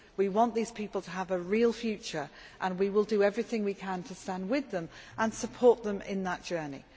We want these people to have a real future and we will do everything we can to stand with them and support them in that journey.